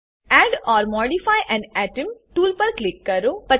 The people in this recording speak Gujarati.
add or modify an atom tool પર ક્લિક કરો